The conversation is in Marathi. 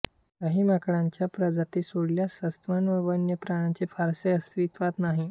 काही माकडांच्या प्रजाती सोडल्यास सस्तन वन्य प्राण्यांचे फारसे अस्तित्व नाही